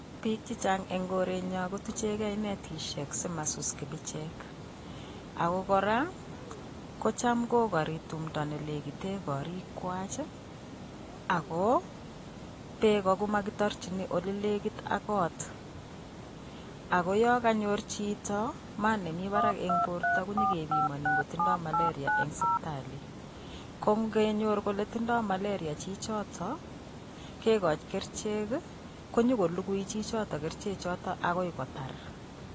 Piik chechang' eng kore't nyon kotuchegee netishek simasus kibichek, ako koraa kocham kogari tumdo nelegiten korik kwach ako peko komakitarchini ole legit ak koot, ako yoo kanyor chito maat nemii parak eng' Porto konyigepimani ngotindoy malaria eng' sipitali, kongenyor koletindoy malaria Chi chotok kegoch kerchek, nyigolugui Chi chotok kerchek chotok akoy kotar.